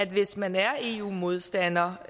hvis man er eu modstander